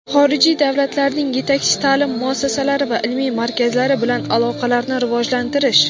xorijiy davlatlarning yetakchi taʼlim muassasalari va ilmiy markazlari bilan aloqalarni rivojlantirish.